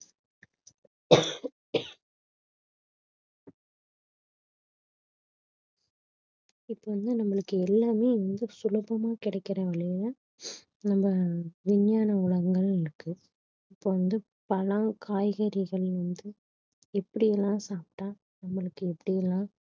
இப்ப வந்து நம்மளுக்கு எல்லாமே வந்து சுலபமா கிடைக்கிற விகையில நம்ம விஞ்ஞான உலகங்கள் இருக்கு இப்ப வந்து பழம் காய்கறிகள் வந்து எப்படி எல்லாம் சாப்பிட்டா நம்மளுக்கு எப்படி எல்லாம்